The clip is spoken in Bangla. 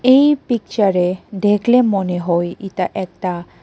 এই পিকচারে দেখলে মনে হয় ইতা একটা--